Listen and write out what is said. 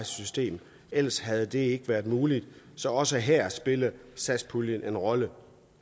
system ellers havde det ikke været muligt så også her spiller satspuljen en rolle